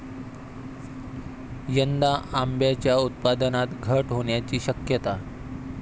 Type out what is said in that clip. यंदा आंब्याच्या उत्पादनात घट होण्याची शक्यता